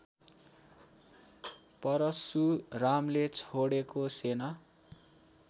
परशुरामले छोडेको सेना